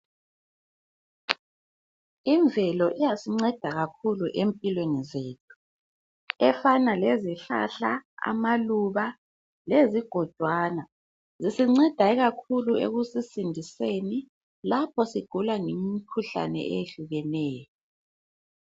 Imvelo iyasinceda kakhulu empilweni zethu ,efana lezihlahla, amaluba, lezigodwana. Zisinceda ikakhulu ekusisindiseni lapha sigula ngemikhuhlane eyehlukeneyo.